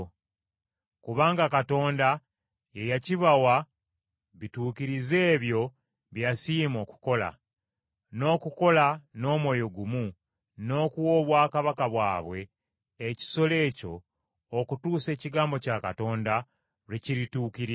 Kubanga Katonda ye yakibiwa bituukirize ebyo bye yasiima okukola, n’okukola n’omwoyo gumu n’okuwa obwakabaka bwabwe ekisolo ekyo okutuusa ekigambo kya Katonda lwe kirituukirira.